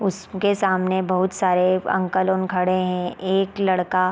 उसके सामने बहुत सारे अंकल उन खड़े है एक लड़का--